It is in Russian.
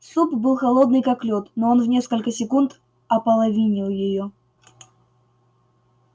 суп был холодный как лёд но он в несколько секунд ополовинил её